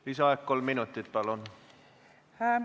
Lisaaeg kolm minutit, palun!